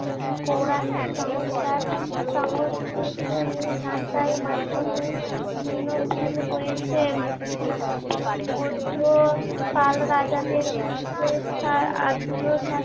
পৌরাণিক সংস্কার সংস্কৃত উম ভাষায় মাধ্যমে দিনমুল হয়েছে। বৌদ্ধ পাল রাজাদের মধ্যে স্যার